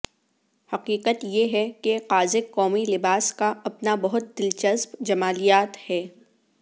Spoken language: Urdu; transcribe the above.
حقیقت یہ ہے کہ قازق قومی لباس کا اپنا بہت دلچسپ جمالیات ہے